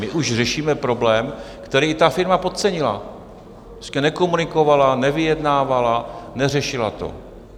My už řešíme problém, který ta firma podcenila, prostě nekomunikovala, nevyjednávala, neřešila to.